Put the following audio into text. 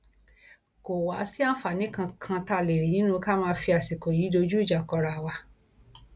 kò wáá sí àǹfààní kankan tá a lè rí nínú ká máa fi àsìkò yìí dojú ìjà kọra wa